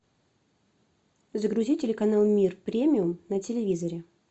загрузи телеканал мир премиум на телевизоре